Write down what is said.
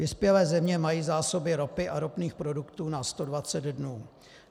Vyspělé země mají zásoby ropy a ropných produktů na 120 dnů.